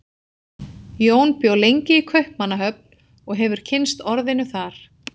Jón bjó lengi í Kaupmannahöfn og hefur kynnst orðinu þar.